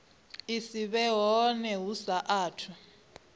si vhe hone hu saathu